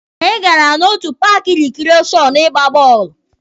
Anyị gara na otu paaki rikreshọn ịgba bọọlụ.